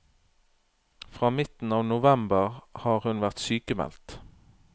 Fra midten av november har hun vært sykmeldt.